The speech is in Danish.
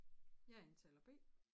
Jeg er taler B